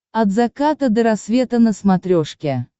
от заката до рассвета на смотрешке